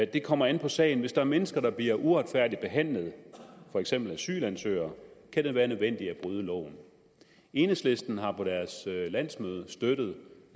det kommer an på sagen hvis der er mennesker der bliver uretfærdigt behandlet for eksempel asylansøgere kan det være nødvendigt at bryde loven enhedslisten har på deres landsmøde støttet